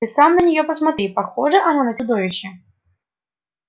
ты сам на неё посмотри похожа она на чудовище